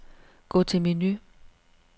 Gå til menu.